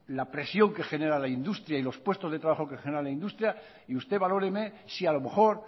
la presión que genera la industria y los puestos de trabajo que genera la industria y usted valóreme si a lo mejor